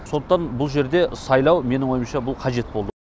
сондықтан бұл жерде сайлау менің ойымша бұл қажет болды